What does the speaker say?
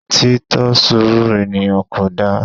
Tí tọ surú eníyan Kodá